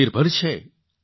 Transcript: આત્મનિર્ભર છે